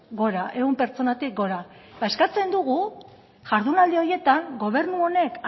gora ehun pertsonatik gora ba eskatzen dugu jardunaldi horietan gobernu honek